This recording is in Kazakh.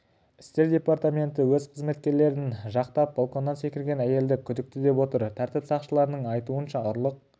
істер департаменті өз қызметкерлерін жақтап балконнан секірген әйелді күдікті деп отыр тәртіп сақшыларының айтуынша ұрлық